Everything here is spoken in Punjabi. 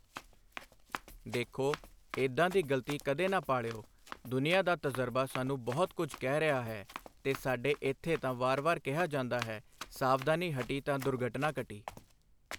ਦੇਖੋ, ਏਦਾਂ ਦੀ ਗਲਤੀ ਕਦੇ ਨਾ ਪਾਲਿਓ, ਦੁਨੀਆਂ ਦਾ ਤਜ਼ਰਬਾ ਸਾਨੂੰ ਬਹੁਤ ਕੁਝ ਕਹਿ ਰਿਹਾ ਹੈ ਤੇ ਸਾਡੇ ਇੱਥੇ ਤਾਂ ਵਾਰ ਵਾਰ ਕਿਹਾ ਜਾਂਦਾ ਹੈ, ਸਾਵਧਾਨੀ ਹਟੀ ਤਾਂ ਦੁਰਘਟਨਾ ਘਟੀ।